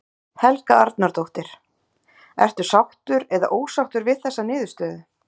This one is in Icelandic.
Helga Arnardóttir: Ertu sáttur eða ósáttur við þessa niðurstöðu?